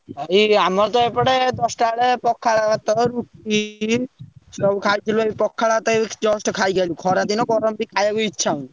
ଭାଇ ଆମର ତ ଏପଟେ ଦଶଟା ବେଳେ ପଖାଳ ଭାତ, ରୁଟି, ସବୁ ଖାଇଥିଲୁ ପଖାଳ ଭାତ ଏବେ just ଖାଇକି ଆଇଲୁ ଖରା ଦିନ ଗରମ ବି ଖାଇବାକୁ ଇଛା ହଉନି।